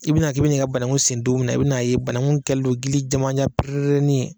I bina k'i bi n'i ka banaku sen don min na i bin'a ye banku kɛlen don gilijamanjan pererenin ye.